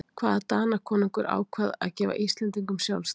hvaða danakonungur ákvað að gefa íslendingum sjálfstæði